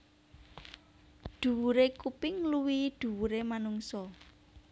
Dhuwure kuping ngluwihi dhuwure manungsa